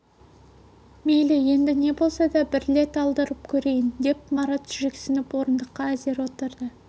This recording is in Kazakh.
мейлі енді не болса да бір рет алдырып көрейін деп марат жүрексініп орындыққа әзер отырды